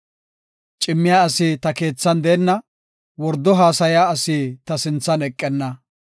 Cimmiya asi ta keethan deenna; wordo haasaya asi ta sinthan eqenna.